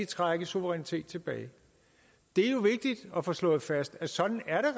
trække suverænitet tilbage det er jo vigtigt at få slået fast at sådan er